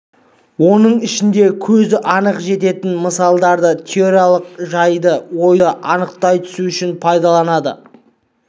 оның ішінде көзі анық жететін мысалдарды теориялық жайды ойды анықтай түсу үшін пайдаланады